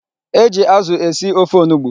E ji azụ esi ofe onugbu.